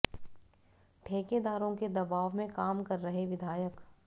ठेकेदारों के दबाव में काम कर रहे विधायक